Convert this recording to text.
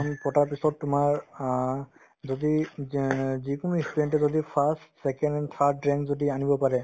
exam পতাৰ পিছত তোমাৰ অ যদি য্য যিকোনো ই student য়ে যদি first, second and third rank যদি আনিব পাৰে